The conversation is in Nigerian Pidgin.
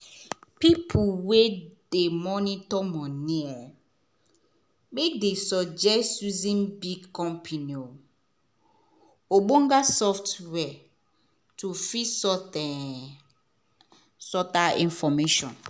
people wey dey monitor money matter dey suggest using big company um ogbonge software to fit sort um out information